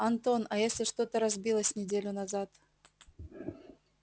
антон а если что-то разбилось неделю назад